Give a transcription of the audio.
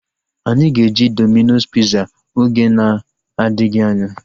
Anyị ga-eje Domino's piza oge na-adịghị anya